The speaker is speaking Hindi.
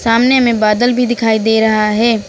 सामने में बादल भी दिखाई दे रहा है।